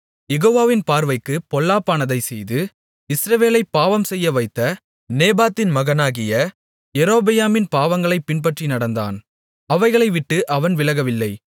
யெகோவாவின் பார்வைக்குப் பொல்லாப்பானதைச் செய்து இஸ்ரவேலைப் பாவம்செய்யவைத்த நேபாத்தின் மகனாகிய யெரொபெயாமின் பாவங்களைப் பின்பற்றி நடந்தான் அவைகளைவிட்டு அவன் விலகவில்லை